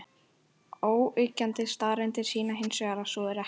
Óyggjandi staðreyndir sýna hins vegar að svo er ekki.